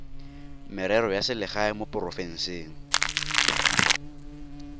merero ya selegae mo porofenseng